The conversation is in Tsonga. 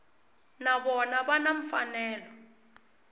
na vona va na mfanelo